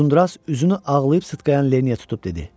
Uzundraz üzünü ağlayıb sıtqayan Lenniyə tutub dedi: